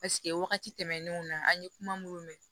Paseke wagati tɛmɛnenw na an ye kuma minnu mɛn